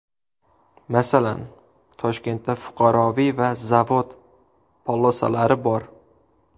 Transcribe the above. Masalan, Toshkentda fuqaroviy va zavod polosalari bor.